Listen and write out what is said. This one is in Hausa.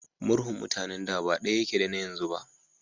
Murhun mutanen da ba daya yake da na yanzu ba.